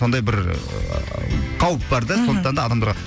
сондай бір қауіп бар да сондықтан да адамдарға